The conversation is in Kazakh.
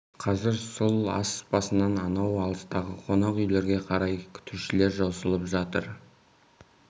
қазір сол ас басынан анау алыстағы қонақ үйлерге қарай күтушілер жосылып жатыр